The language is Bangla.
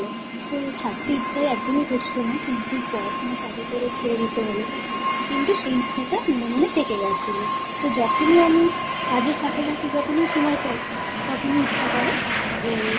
কিন্তু সেই ইচ্ছেটা মনে মনে থেকে গেছিল । তো যখনই আমি কাজের ফাঁকে ফাঁকে যখনই সময় পাই তখন ইচ্ছা করে যে